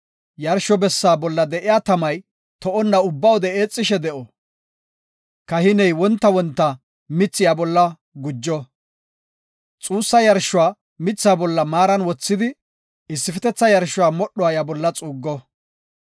Yarsho bessaa bolla de7iya tamay to7onna ubba wode eexishe de7o. Kahiney wonta wonta mithi iya bolla gujo. Xoossa yarshuwa mitha bolla maaran wothidi, issifetetha yarshuwa modhuwa iya bolla xuuggo.